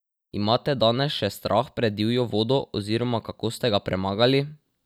Imate danes še strah pred divjo vodo oziroma kako ste ga premagali?